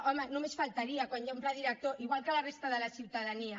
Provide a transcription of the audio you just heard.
home només faltaria quan hi ha un pla director igual que la resta de la ciutadania